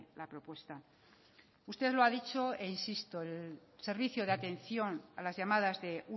la propuesta usted lo ha dicho e insisto el servicio de atención a las llamadas de